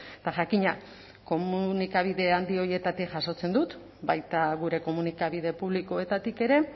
eta jakina komunikabide handi horietatik jasotzen dut baita gure komunikabide publikoetatik ere